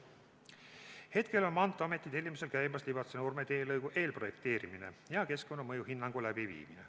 Hetkel on Maanteeameti tellimusel käimas Libatse–Nurme teelõigu eelprojekteerimine ja keskkonnamõju hinnang.